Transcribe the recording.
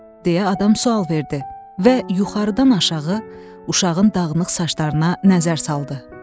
deyə adam sual verdi və yuxarıdan aşağı uşağın dağınıq saçlarına nəzər saldı.